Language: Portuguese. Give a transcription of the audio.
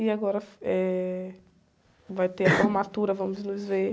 E agora, eh, vai ter a formatura, vamos nos ver.